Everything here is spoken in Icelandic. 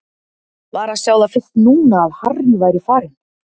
Var að sjá það fyrst núna að Harry væri farinn.